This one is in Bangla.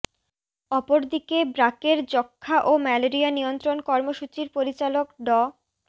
অপরদিকে ব্রাকের যক্ষা ও ম্যালেরিয়া নিয়ন্ত্রণ কর্মসূচির পরিচালক ড